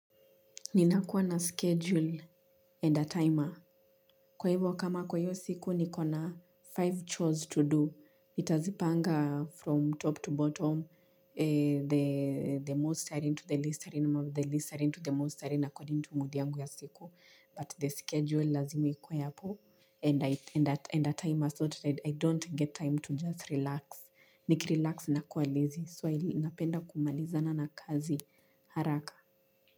Ninakuwa na schedule and a timer. Kwa hivyo kama kwa hiyo siku nikona five chores to do. Nitazipanga from top to bottom the most are into the least are in the most are in according to mood yangu ya siku. But the schedule lazima ikuwe hapo. And a timer thought that I don't get time to just relax. Nikirelax nakua lazy. So I napenda kumalizana na kazi haraka.